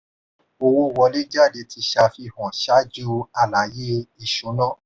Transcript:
owó wọlé/jádé ti ṣàfihàn ṣáájú àlàyé ìṣúná.